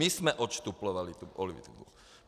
My jsme odštuplovali tu politiku.